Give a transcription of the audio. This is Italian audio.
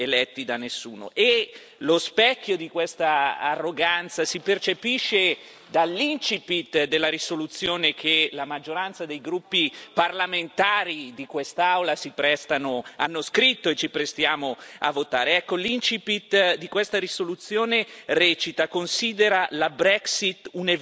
Lo specchio di quest'arroganza si percepisce dall'incipit della risoluzione che la maggioranza dei gruppi parlamentari di quest'Aula ha scritto e che ci apprestiamo a votare. L'incipit di questa risoluzione recita considera la Brexit un evento deplorevole....